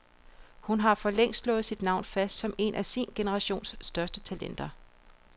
Hun har for længst slået sit navn fast som et af sin generations største talenter.